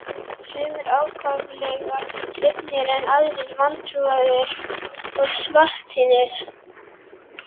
Sumir ákaflega hrifnir en aðrir vantrúaðir og svartsýnir.